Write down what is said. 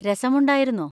രസമുണ്ടായിരുന്നോ?